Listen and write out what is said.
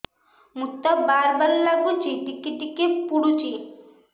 ମୁତ ବାର୍ ବାର୍ ଲାଗୁଚି ଟିକେ ଟିକେ ପୁଡୁଚି